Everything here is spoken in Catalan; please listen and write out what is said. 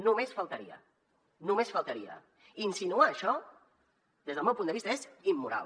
només faltaria només faltaria insinuar això des del meu punt de vista és immoral